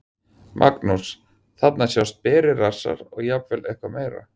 Magnús: Þarna sjást berir rassar og jafnvel eitthvað meira?